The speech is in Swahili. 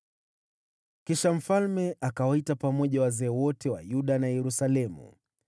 Kisha mfalme akawaita pamoja wazee wote wa Yuda na Yerusalemu.